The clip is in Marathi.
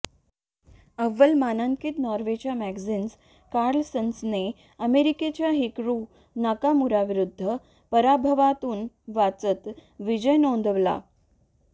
अव्वल मानांकित नॉर्वेच्या मॅग्नस कार्लसनने अमेरिकेच्या हिकॅरु नाकामुराविरुद्ध पराभवातून वाचत विजय नोंदवला